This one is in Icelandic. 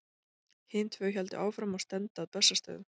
Hin tvö héldu áfram og stefndu að Bessastöðum.